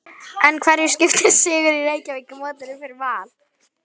En hverju skiptir sigur í Reykjavíkurmótinu fyrir Val?